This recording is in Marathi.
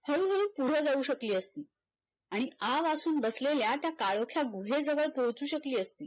पुढ जाऊ शकली असती आणि आवासून बसलेल्या त्या काळोख्या गुहे जवळ पोहचू शकली असती